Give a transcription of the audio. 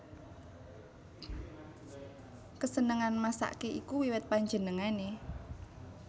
Kesenengan masake iku wiwit panjenengane